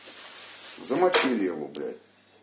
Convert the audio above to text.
замочили его блять